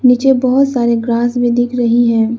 नीचे बहोत सारे ग्रास भी दिख रही है।